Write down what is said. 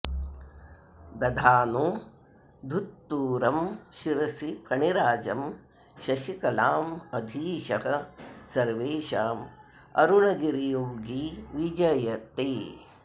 दधानो धुत्तूरं शिरसि फणिराजं शशिकलां अधीशः सर्वेषां अरुणगिरियोगी विजयते